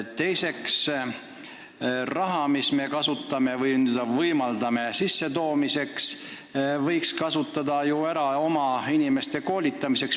Teiseks, seda raha, mida me kasutame spetsialistide sissetoomise võimaldamiseks, võiks kasutada ju oma inimeste koolitamiseks.